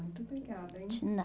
Muito obrigada, hein. De